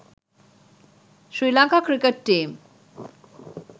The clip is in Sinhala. sri lanka cricket team